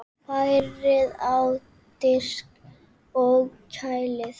Færið á disk og kælið.